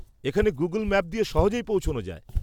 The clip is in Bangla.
এখানে গুগল ম্যাপ দিয়ে সহজেই পৌঁছনো যায়।